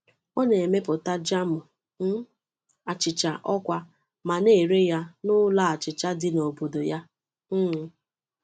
Ọ na-emepụta jamụ um achịcha ọkwá ma na-ere ya n’ụlọ achịcha dị n’obodo ya. um